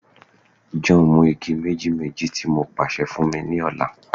John, mu igi meji-meji-meji ti mo paṣẹ fun mi ni ọla